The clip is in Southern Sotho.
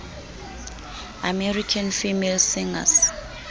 american female singers